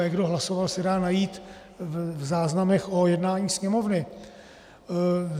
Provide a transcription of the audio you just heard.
A jak kdo hlasoval, se dá najít v záznamech o jednání Sněmovny.